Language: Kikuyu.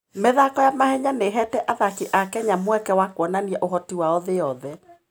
mĩthako ya mahenya nĩ ĩheete athaki a Kenya mweke wa kuonania ũhoti wao thĩ yothe.